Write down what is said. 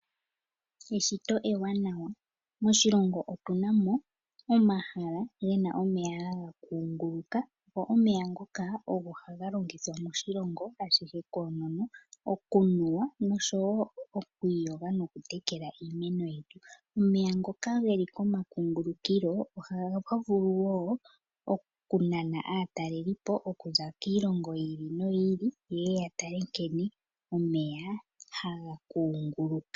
Eshito ewanawa. Moshilongo otuna mo omahala gena omeya haga kunguluka, go omeya ngoka ogo haga longithwa moshilongo ashihe koonono. Okunuwa noshowo okwiiyoga nokutekela iimeno yetu. Omeya ngoka geli komakungulikilo, ohaga vulu wo okunana aatalelipo okuza kiilongo yi ili noyi ili, yeye ya tale nkene omeya haga kunguluka.